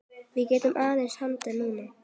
Við getum aðeins andað núna.